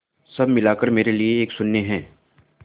सब मिलाकर मेरे लिए एक शून्य है